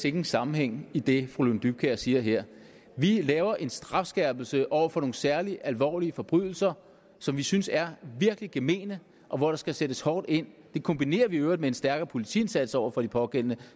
ingen sammenhæng i det fru lone dybkjær siger her vi laver en strafskærpelse over for nogle særlig alvorlige forbrydelser som vi synes er virkelig gemene og hvor der skal sættes hårdt ind det kombinerer vi i øvrigt med en stærkere politiindsats over for de pågældende